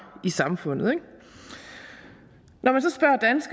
i samfundet når